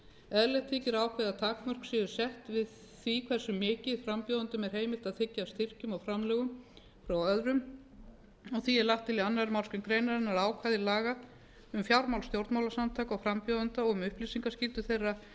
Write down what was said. eðlilegt þykir að ákveðin takmörk séu sett við því hversu mikið frambjóðendum er heimilt að þiggja af styrkjum og framlögum frá öðrum og er því lagt til í annarri málsgrein greinarinnar að ákvæði laga um fjármál stjórnmálasamtaka og frambjóðenda og um upplýsingaskyldu þeirra